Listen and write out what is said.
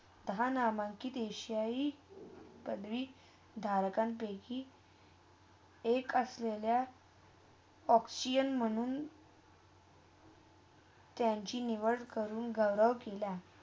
दहा नहमकी देशाही. पदवी. दहापैकी एक असलेल्या ऑक्सिअन्स म्हणून त्यांची निवड करून गौरव केला.